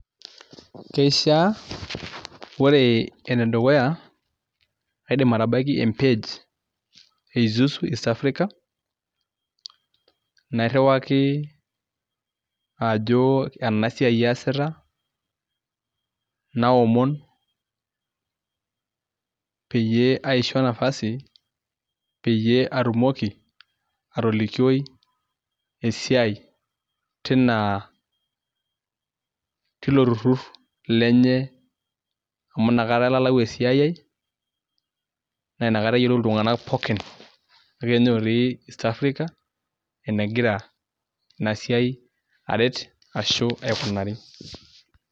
Keishaa ore enedukuya aidim atabaiki empej eisuzu East Africa nairriwaki ajo enasiai aasita naomon peyie aisho nafasi peyie atumoki atolikioi esiai tinaa tilo turrur lenye amu nakata elalau esiaiai nainakata eyiolou iltung'anak pookin. Neaku enyorrii East Africa enegira inasiai aret ashu aikunari.